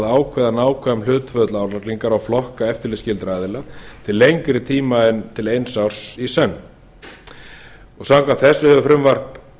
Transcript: ákveða nákvæm hlutföll álagningar á flokka eftirlitsskyldra aðila til lengri tíma en til eins árs í senn samkvæmt þessu hefur frumvarp